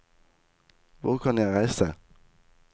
Hvor kan jeg reise?